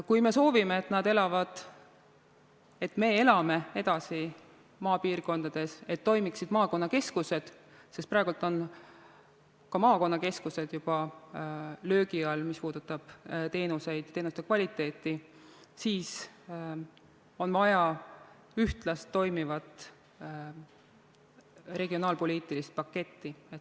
Kui me soovime, et me elame edasi maapiirkondades, et toimiksid maakonnakeskused – praegu on ka maakonnakeskused juba löögi all, mis puudutab teenuseid ja teenuste kvaliteeti –, siis on vaja ühtlast toimivat regionaalpoliitilist paketti.